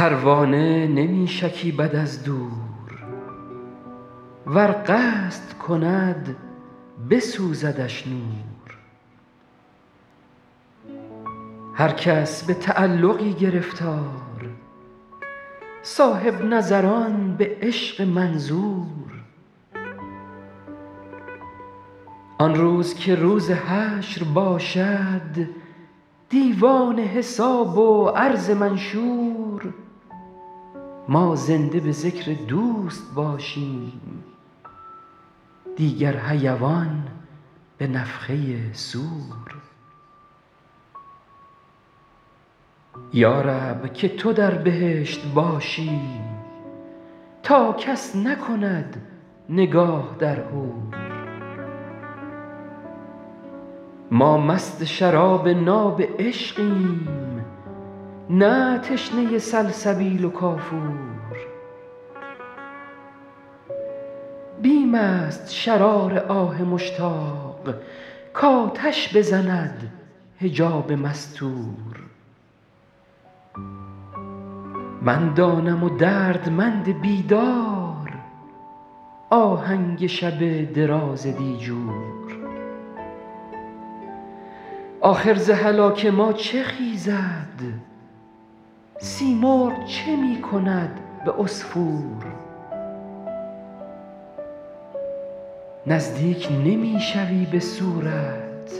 پروانه نمی شکیبد از دور ور قصد کند بسوزدش نور هر کس به تعلقی گرفتار صاحب نظران به عشق منظور آن روز که روز حشر باشد دیوان حساب و عرض منشور ما زنده به ذکر دوست باشیم دیگر حیوان به نفخه صور یا رب که تو در بهشت باشی تا کس نکند نگاه در حور ما مست شراب ناب عشقیم نه تشنه سلسبیل و کافور بیم است شرار آه مشتاق کآتش بزند حجاب مستور من دانم و دردمند بیدار آهنگ شب دراز دیجور آخر ز هلاک ما چه خیزد سیمرغ چه می کند به عصفور نزدیک نمی شوی به صورت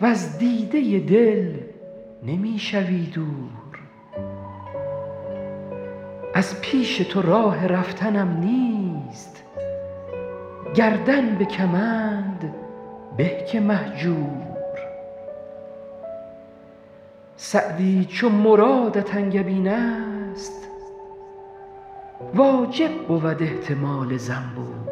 وز دیده دل نمی شوی دور از پیش تو راه رفتنم نیست گردن به کمند به که مهجور سعدی چو مرادت انگبین است واجب بود احتمال زنبور